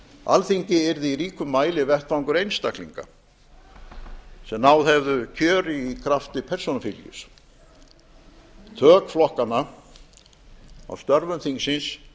alþingi yrði í ríkum mæli vettvangur einstaklinga sem náð hefðu kjöri í krafti persónufylgis tök flokkanna á störfum þingsins